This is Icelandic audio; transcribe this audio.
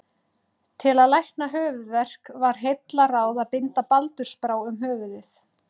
Til að lækna höfuðverk var heillaráð að binda baldursbrá um höfuðið.